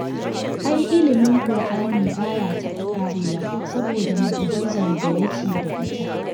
Ai ilimin ƙur'ani ba ya taɓa ƙarewa saboda mu'ujizar da yake da ita